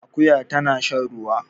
Akuya tana shan ruwa